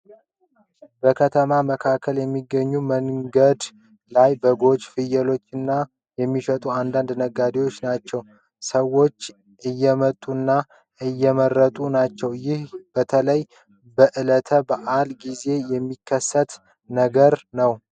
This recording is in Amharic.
በከተማ መካከል በሚገኝ መንገድ ላይ በጎችንና ፍየሎችን የሚሸጡ አንዳንድ ነጋዴዎች ናቸው ። ሰዎች እየመጡና እየመረጡ ናቸው። ይህ በተለይ በዕለተ በዓላት ጊዜ የሚከሰት ነገር ነው።